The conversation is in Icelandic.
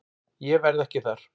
Ég verð ekki þar.